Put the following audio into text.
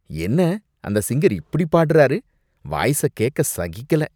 என்ன, அந்த சிங்கர் இப்படி பாடுறார், வாய்ஸ கேக்க சகிக்கல.